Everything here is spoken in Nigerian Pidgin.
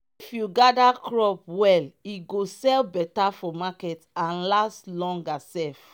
if you gather crop well e go sell better for market and last longer sef.